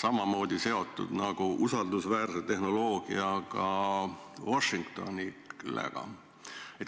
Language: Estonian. samamoodi seotud nagu usaldusväärset tehnoloogiat kasutava Washingtoniga.